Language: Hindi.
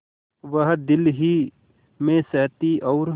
वह दिल ही में सहती और